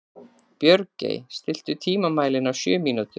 Björgey, stilltu tímamælinn á sjö mínútur.